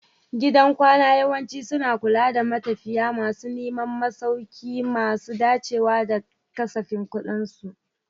Gidan kwana yawanci suna kula da matafiya masu neman masauki masu dacewa da kasafin kuɗinsu.